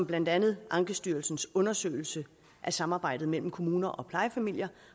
blandt andet ankestyrelsens undersøgelse af samarbejdet mellem kommuner og plejefamilier